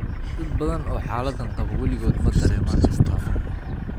Dad badan oo xaaladdan qaba weligood ma dareemaan astaamo.